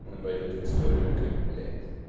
он войдёт в историю как блять